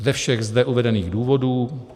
Ze všech zde uvedených důvodů